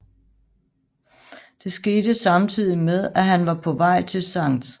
Det skete samtidig med at han var på vej til Skt